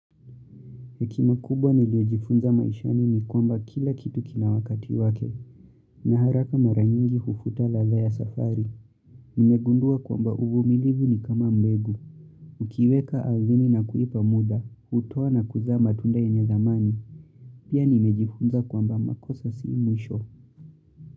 Hekima kubwa niliyojifunza maishani ni kwamba kila kitu kina wakati wake. Na haraka mara nyingi hufuta ladha ya safari. Nimegundua kwamba uvumilivu ni kama mbegu. Ukiiweka ardhini na kuipa muda, hutoa na kuzaa matunda yenye dhamani. Pia nimejifunza kwamba makosa sii mwisho.